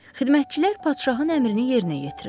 Xidmətçilər padşahın əmrini yerinə yetirirlər.